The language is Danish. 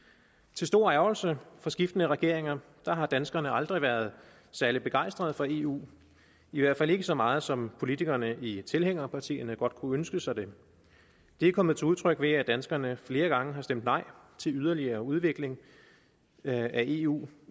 til stor ærgrelse for skiftende regeringer har danskerne aldrig været særlig begejstrede for eu i hvert fald ikke så meget som politikerne i tilhængerpartierne godt kunne ønske sig det er kommet til udtryk ved at danskerne flere gange har stemt nej til yderligere udvikling af eu